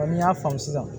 n'i y'a faamu sisan